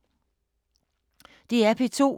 DR P2